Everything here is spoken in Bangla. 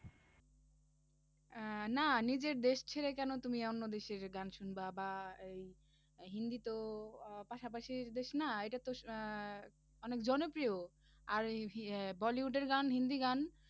আহ না নিজের দেশ ছেড়ে কেন তুমি কেন অন্য দেশের গান শুনবা, বা এই হিন্দি তো আহ পাশাপাশির দেশ না এটাতো আহ অনেক জনপ্রিয় আর ওই আহ bollywood এর গান হিন্দি গান